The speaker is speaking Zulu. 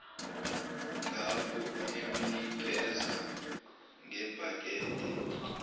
ngapho emnikeza ngebhakede